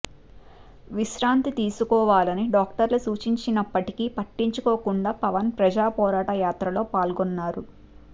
విశ్రాంతి తీసుకోవాలని డాక్టర్లు సూచించినప్పటికి పట్టించుకోకుండా పవన్ ప్రజాపోరాట యాత్రలో పాల్గొన్నారు